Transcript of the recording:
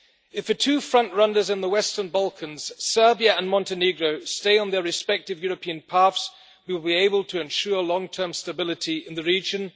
If the two front runners in the Western Balkans, Serbia and Montenegro, stay on their respective European paths, we will be able to ensure long-term stability in the region.